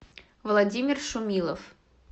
владимир шумилов